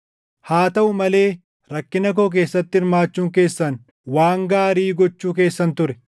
Haa taʼuu malee rakkina koo keessatti hirmaachuun keessan waan gaarii gochuu keessan ture.